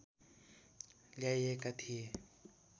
ल्याइएका थिए